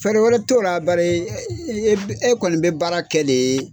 Fɛɛrɛ wɛrɛ t'o la bari e kɔni bɛ baara kɛ de